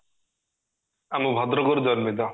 ଆମ ଭଦ୍ରକ ରୁ ଜନ୍ମିତ